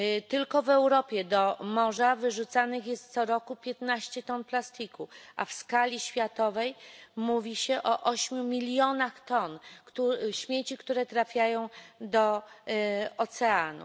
Tylko w Europie do morza wyrzucanych jest co roku piętnaście ton plastiku, a w skali światowej mówi się o ośmiu milionach ton śmieci, które trafiają do oceanów.